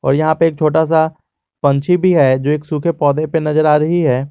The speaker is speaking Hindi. और यहां पे एक छोटा सा पंछी भी है जो एक सूखे पौधे पर नजर आ रही है।